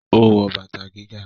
ó wọ bàtà gíga